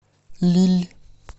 лилль